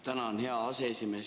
Tänan, hea aseesimees!